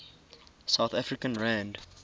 south african rand